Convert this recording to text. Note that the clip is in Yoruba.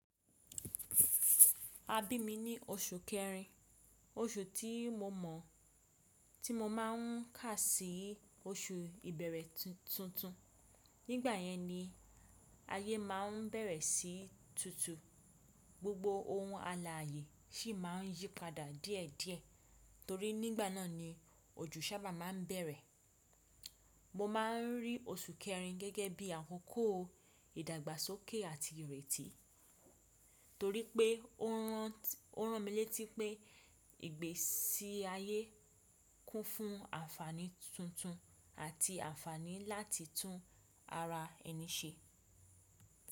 A bí mi ní oṣù kẹrin, oṣù tí mo mọ̀ tí mo máa ń kà sí oṣù ìbẹ̀rẹ̀ tuntun. Nígbà yẹn ni ayé máa ń bẹ̀rẹ̀ sí í tutù, gbogbo ohun àlààyè sì má a ń yípadà díẹ̀ díẹ̀ torí nígbà náà ni òjù ṣábà máa ń bẹ̀rẹ̀. Mo ma ń rí oṣù kẹrin gẹ́gẹ́ bí àkókò ìdàgbàsókè àti ìrètí torí pé ó rán mi létí pé ìgbésí ayé kún fún àǹfààní tuntun àti àǹfààní láti tún ara ẹni ṣe.